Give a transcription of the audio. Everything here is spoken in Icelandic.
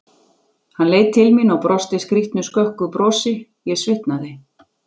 Hann leit til mín og brosti skrýtnu, skökku brosi, ég svitnaði.